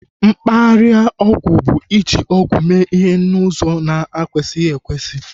Mkparịa ọgwụ bu iji ọgwụ mee ihe n'ụzọ na ekwesighi ekwesị